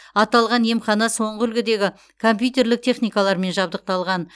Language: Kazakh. аталған емхана соңғы үлгідегі компьютерлік техникалармен жабдықталаған